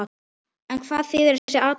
En hvað þýðir þessi aðlögun?